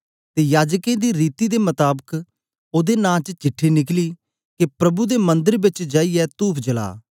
ते याजकें दी रीति दे मताबक ओदे नां च चिट्ठी निकली के प्रभु दे मंदर बेच जाईयै तूफ जला